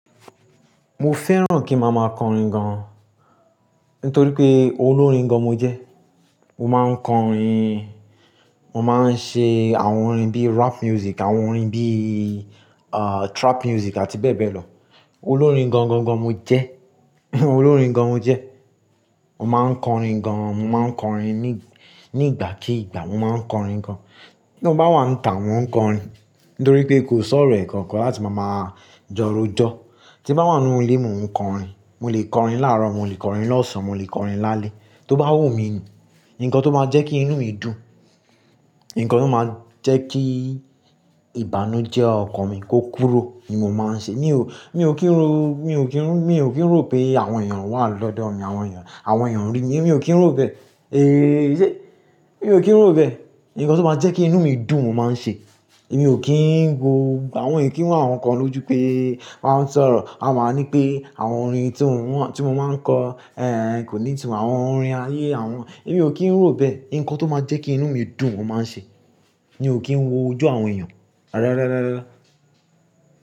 Mo fẹ́ràn kí màá máa kọrin gan. Nítorí pé olórin gan mo jẹ́. Mo máa ń kọ orin, mo máa ń ṣe àwọn orin bí rap music, àwọn orin bí, ah, trap music àti bẹ́ẹ̀ bẹ́ẹ̀ lọ. Olórin gan gan gan mo jẹ́. Olórin gan mo jẹ́. Mo máa ń kọ orin gan, mo máa ń kọ orin nígbàkígbà. Mo máa ń kọ orin gan. Bí n bá wà n ta, mò ń kọ orin. Nítorí pé kò sọ́rọ̀ ẹ̀ẹ̀kan kan láti màá máa jọrójọ́. Tí mo bá wà nínú ilé, mò ń kọ orin. Mo lè kọ orin láàrọ̀, mo lè kọ orin lọ́sàn án, mo lè kọ orin lálẹ́. Tó bá wù mí ni, nǹkan tó máa jẹ́ kí inú mi dùn, nǹkan tó máa jẹ́ kí ìbànújẹ́ ọkan mi kó kúrò ni mo máa ń ṣe. Mi ò, mi ò kí ń ro, mi ò kí ń rù, mi ò kí ń rò pé àwọn èèyàn wà lọ́dọ̀ mi, àwọn èèyàn, àwọn èèyàn rí mi, mi ò kí ń rò bẹ́ẹ̀. Mi ò kí ń rò bẹ́ẹ̀. Ǹkan tó máa jẹ́ kí inú mi dùn, mo máa ń ṣe. Èmi ò kí ń wo, àwọn èèyàn kí ń wá ǹkan lójú pé wọ́n ń sọ̀rọ̀, wọ́n máa ní pé àwọn orin tí mò ń, tí mo máa ń kọ, kò ní tun àwọn orin ayé àwọn Èmi ò kí ń rò bẹ́ẹ̀. Ǹkan tó máa jẹ́ kí inú mi dùn, mo máa ń ṣe. Mi ò kí ń wo ojú àwọn èèyàn. Rárá, rárá, rárá, rárá.